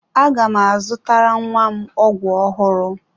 Aga m azụtara nwa m ọgwụ ọhụrụ.